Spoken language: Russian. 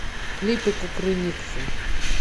клипы кукрыниксы